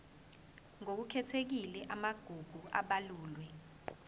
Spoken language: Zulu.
ngokukhethekile amagugu abalulwe